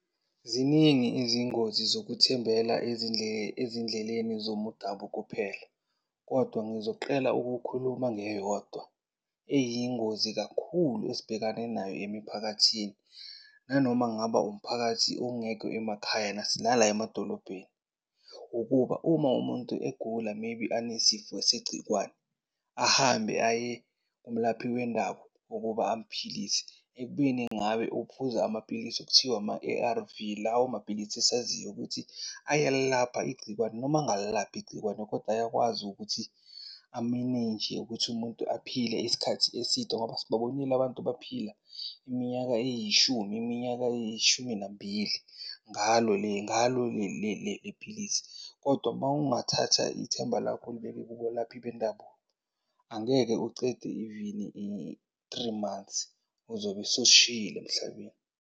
Ziningi izingozi zokuthembela ezindleleni zomdabu kuphela, kodwa ngizoqela ukukhuluma ngeyodwa eyingozi kakhulu esibhekane nayo emiphakathini. Nanoma ngaba umphakathi ongekho emakhaya nala emadolobheni, ukuba uma umuntu egula maybe anesifo segciwane, ahambe aye kumlaphi wendabu ukuba amphilise ekubeni ngabe uphuza amaphilisi ekuthiwa ama-A_R_V. Lawo maphilisi esaziyo ukuthi ayalilapha igcikwane, noma angalilaphi igcikwane kodwa ayakwazi ukuthi amenenje ukuthi umuntu aphile isikhathi eside. Ngoba sibabonile abantu baphila iminyaka eyishumi, iminyaka eyishumi nambili ngalo , ngalo le philisi. Kodwa mawungathatha ithemba lakho ulibeke kubalaphi bendabu angeke ucede even i-three months, uzobe sowusishiyile emhlabeni.